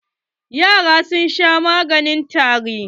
Yaran sun sha wani maganin tari.